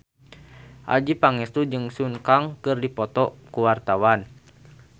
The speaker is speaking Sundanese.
Adjie Pangestu jeung Sun Kang keur dipoto ku wartawan